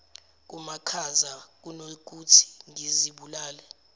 kumakhaza kunokuthi ngizibulale